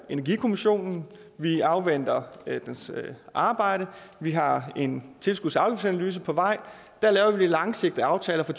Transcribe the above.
energikommission og vi afventer dens arbejde vi har en tilskuds og afgiftsanalyse på vej der laver vi de langsigtede aftaler for